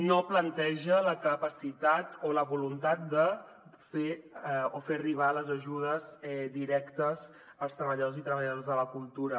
no planteja la capacitat o la voluntat de fer arribar les ajudes directes als treballadors i treballadores de la cultura